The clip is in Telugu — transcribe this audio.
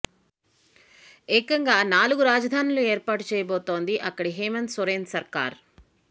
ఏకంగా నాలుగు రాజధానులను ఏర్పాటు చేయబోతోంది అక్కడి హేమంత్ సోరెన్ సర్కార్